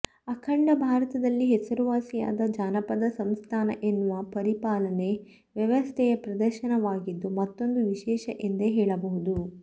ಅಖಂಡ ಭಾರತದಲ್ಲಿ ಹೆಸರುವಾಸಿಯಾದ ಜಾನಪದ ಸಂಸ್ಥಾನ ಎನ್ನುವ ಪರಿಪಾಲನೆ ವ್ಯವಸ್ಥೆಯ ಪ್ರದೇಶವಾಗಿದ್ದು ಮತ್ತೊಂದು ವಿಶೇಷ ಎಂದೇ ಹೇಳಬಹುದು